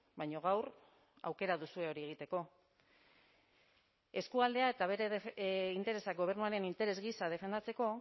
baina gaur aukera duzue hori egiteko eskualdea eta bere interesak gobernuaren interes gisa defendatzeko